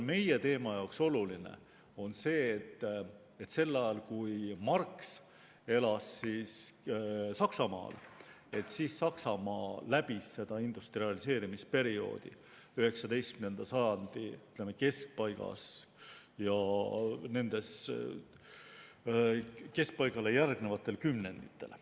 Meie teema jaoks on oluline see, et sel ajal, kui Marx elas Saksamaal, läbis Saksamaa industrialiseerimisperioodi, s.o 19. sajandi keskpaigas ja keskpaigale järgnevatel kümnenditel.